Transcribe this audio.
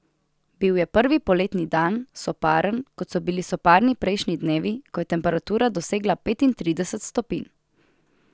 Bil je prvi poletni dan, soparen, kot so bili soparni prejšnji dnevi, ko je temperatura dosegla petintrideset stopinj.